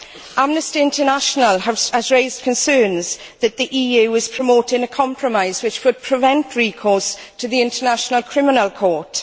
Amnesty International has raised concerns that the EU is promoting a compromise which would prevent recourse to the International Criminal Court.